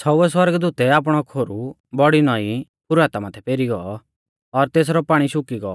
छ़ौउवै सौरगदूतै आपणौ खोरु बौड़ी नौईं फराता माथै पेरी गौ और तेसरौ पाणी शुकी गौ